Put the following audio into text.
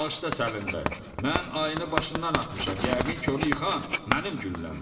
Bağışla, Səlim bəy, mən ayını başından atmışam, yəqin ki, onu yıxan mənim gülləmdir.